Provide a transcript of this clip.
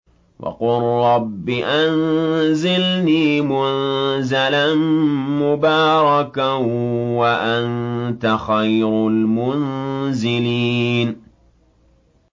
وَقُل رَّبِّ أَنزِلْنِي مُنزَلًا مُّبَارَكًا وَأَنتَ خَيْرُ الْمُنزِلِينَ